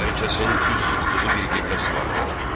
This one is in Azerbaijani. Hər kəsin üz tutduğu bir qibləsi vardır.